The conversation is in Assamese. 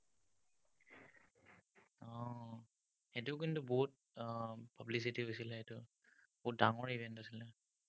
সেইটো কিন্তু, বহুত উম publicity হৈছিলে সেইটো। বহুত ডাঙৰ event আছিলে।